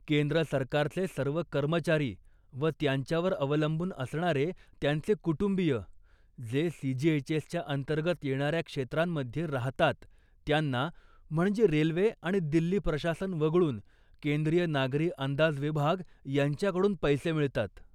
केंद्र सरकारचे सर्व कर्मचारी, व त्यांच्यावर अवलंबून असणारे त्यांचे कुटुंबीय जे सीजीएचएसच्या अंतर्गत येणाऱ्या क्षेत्रांमध्ये राहतात त्यांना, म्हणजे रेल्वे आणि दिल्ली प्रशासन वगळून, केंद्रीय नागरी अंदाज विभाग यांच्याकडून पैसे मिळतात.